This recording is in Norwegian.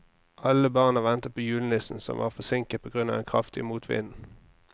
Alle barna ventet på julenissen, som var forsinket på grunn av den kraftige motvinden.